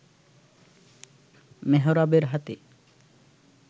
মেহরাবের হাতে